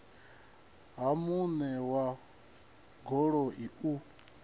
ha muṋe wa goloi u